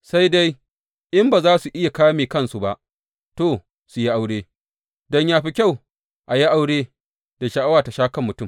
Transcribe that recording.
Sai dai in ba za su iya ƙame kansu ba, to, su yi aure, don yă fi kyau a yi aure, da sha’awa ta sha kan mutum.